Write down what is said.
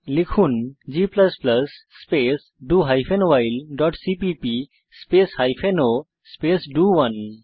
লিখুন g space do hyphen vile dot CPP space hyphen o space ডো1